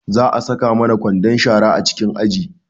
Za a saka mana kwandon shara a cikin aji